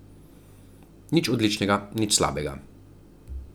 Nič odličnega, nič slabega.